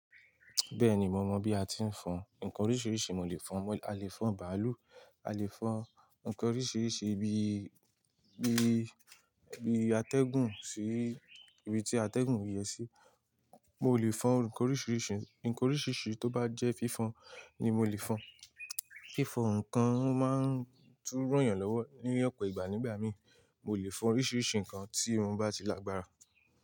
Bẹ́ẹ̀ni mo mọ̀ bí a ti ń fọn, ǹkan oríṣiríṣi mo lè fọn, a lè fọn bàálù, a lè fọn ǹkan oríṣiríṣi bí, bí, bí atẹ́gùn sí, ibi tí atẹ́gùn yẹ sí. Mo lè fọn ǹkan oríṣiríṣi, ǹkan oríṣiríṣi tó bá jẹ́ fífon ni mo lè fọn. Fífọn ǹkan máa ń tún ranyàn lọ́wọ́ ní ọ̀pọ̀ ìgbà nígbà mí, mo lè fọn oríṣiríṣi ǹkan tí mó bá ti lágbára.